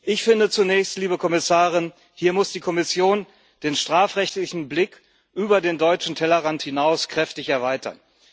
Ich finde zunächst, liebe Kommissarin Hier muss die Kommission den strafrechtlichen Blick über den deutschen Tellerrand hinaus kräftig erweitern.